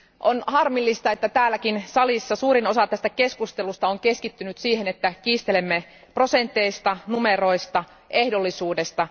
On harmillista, että täälläkin salissa suurin osa keskustelusta on keskittynyt siihen, että kiistelemme prosenteista, numeroista ja ehdollisuudesta.